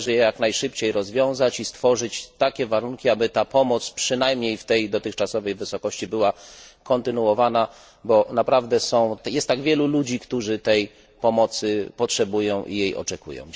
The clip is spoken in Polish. Należy je jak najszybciej rozwiązać i stworzyć takie warunki, aby ta pomoc przynajmniej w tej dotychczasowej wysokości była kontynuowana, ponieważ naprawdę jest tak wielu ludzi, którzy tej pomocy potrzebują i jej oczekują.